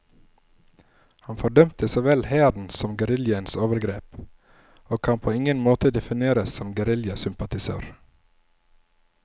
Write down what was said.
Han fordømte så vel hærens som geriljaens overgrep, og kan på ingen måte defineres som geriljasympatisør.